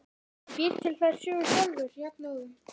Hvenær átt þú von á að niðurstaða liggi fyrir?